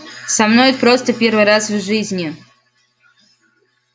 со мной это просто первый раз в жизни